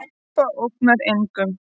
Harpa ógnar engum